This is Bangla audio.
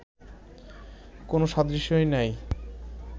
কোন সাদৃশ্যই নাই